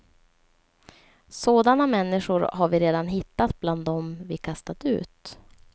Sådana människor har vi redan hittat bland dem vi kastat ut.